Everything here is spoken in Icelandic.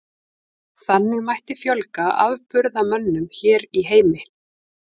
Þannig mætti fjölga afburðamönnum hér í heimi.